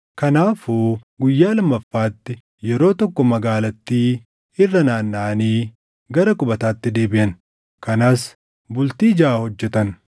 Kanaafuu guyyaa lammaffaatti yeroo tokko magaalattii irra naannaʼanii gara qubataatti deebiʼan. Kanas bultii jaʼa hojjetan.